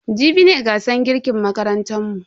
Jibi ne gasar girkin makarantan mu.